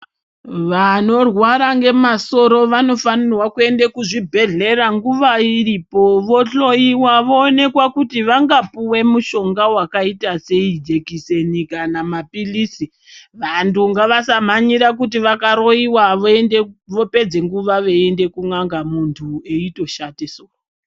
Vanorwara ngemasoro vanofanirwa kuende kuzvibhedhlera nguwa iripo vohloiwa voonekwa kuti vangapiwa mushonga wakaita sei jekiseni kana mapilisi vantu ngavasamhanyira kuti vakaroiwa voende vopedze nguwa veiende kun'anga muntu eitoshate soro.